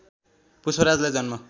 पुष्पराजलाई जन्म